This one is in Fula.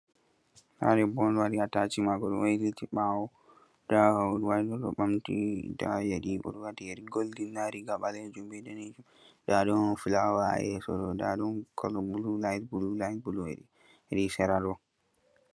Ɗa ɗebbo on waɗi ataci mako oɗo wailiti bawo. Nɗabwaine ɗo mamti. Nɗa yeri oɗo wati he golɗin. Nɗa riga ɗanejum be balejum. Nɗa ɗon fulawa ha yeso ɗo. Nɗa ɗon kolo bulu lain-bulu lain heɗi sera ɗo.